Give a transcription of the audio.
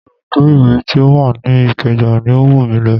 Ibùdó iwe ti ó wà ní ìkeja ni ó wù mí lọ